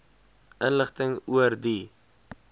inligting oor die